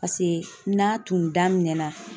Paseke n'a tun daminɛna